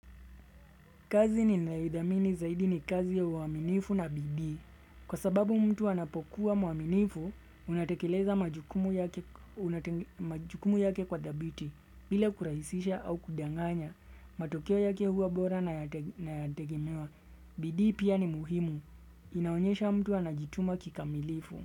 Kazi ninaoithamini zaidi ni kazi ya uaminifu na bidii. Kwa sababu mtu anapokuwa mwaminifu, unatekeleza majukumu yake kwa dhabiti. Bila kurahisisha au kudanganya. Matokeo yake huwa bora na yategemewa. Bidii pia ni muhimu. Inaonyesha mtu anajituma kikamilifu.